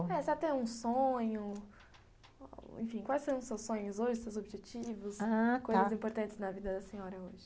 É, se você tem um sonho, enfim, quais são os seus sonhos hoje, seus objetivos, ah, tá, coisas importantes na vida da senhora hoje?